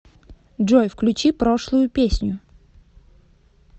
джой включи прошлую песню